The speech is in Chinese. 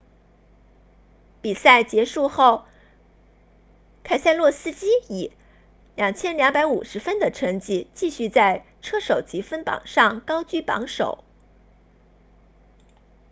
比赛结束后凯塞洛斯基以 2,250 分的成绩继续在车手积分榜上高居榜首